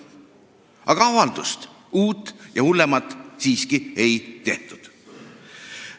Aga avaldust, uut ja hullemat siiski ei tehtud.